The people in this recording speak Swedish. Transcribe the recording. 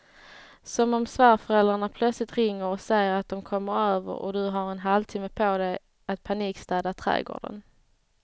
Som om svärföräldrarna plötsligt ringer och säger att de kommer över och du har en halvtimme på dig att panikstäda trädgården.